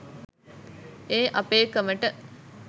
ඒ අපේ කමට